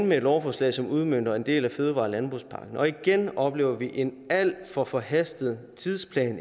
med et lovforslag som udmønter en del af fødevare og landbrugspakken og igen oplever vi en alt for forhastet tidsplan